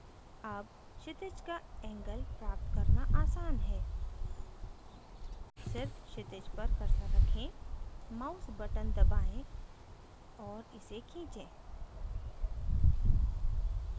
अब क्षितिज का angle प्राप्त करना आसान है सिर्फ़ क्षितिज पर cursor रखें mouse button दबाएँ और इसे खींचे